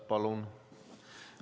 Palun!